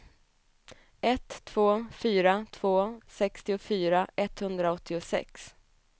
ett två fyra två sextiofyra etthundraåttiosex